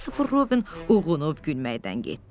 Kristofer Robin uyğunub gülməkdən getdi.